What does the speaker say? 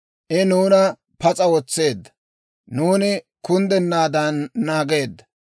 I nuuna pas'a wotseedda; nuuni kunddennaadan naageedda.